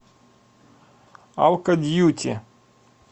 алкодьюти